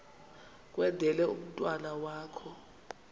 kwendele umntwana wakho